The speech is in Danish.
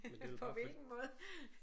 På hvilken måde?